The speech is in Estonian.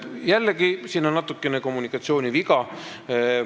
Jällegi, siin on natukene kommunikatsiooniviga.